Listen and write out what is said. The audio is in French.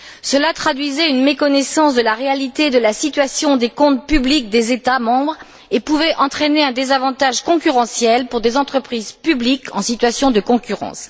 Cela traduisait une méconnaissance de la réalité de la situation des comptes publics des États membres et pouvait entraîner un désavantage concurrentiel pour des entreprises publiques en situation de concurrence.